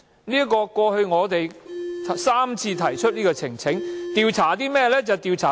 我們過去3次提出呈請書所為何事？